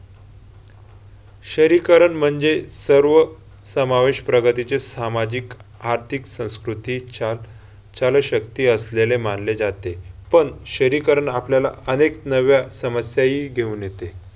शहरीकरण म्हणजे सर्व समावेश प्रगतीचे सामाजिक, आर्थिक संस्कृतीच्या शक्ती असलेले मानले जाते. पण शहरीकरण आपल्याला अनेक नव्या समस्याही घेऊन येते.